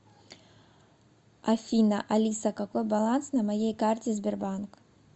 афина алиса какой баланс на моей карте сбербанк